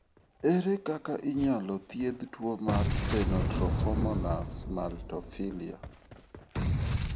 Ere kaka inyalo thiedh tuwo mar Stenotrophomonas maltophilia?